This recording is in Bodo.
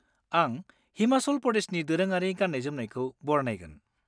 आं हिमाचल प्रदेशनि दोरोङारि गाननाय-जोमनायखौ बरनायगोन।